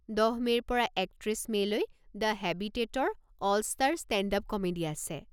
দহ মে'ৰ পৰা একত্ৰিছ মে'লৈ দ্য হেবিটে'টৰ 'অল-ষ্টাৰ ষ্টে'ণ্ডআপ কমেডি' আছে।